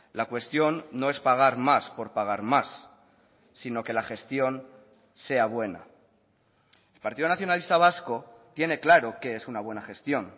la cuestión no es pagar más por pagar más sino que la gestión sea buena el partido nacionalista vasco tiene claro qué es una buena gestión